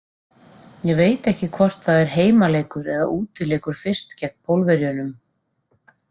Ég veit ekki hvort það er heimaleikur eða útileikur fyrst gegn Pólverjunum.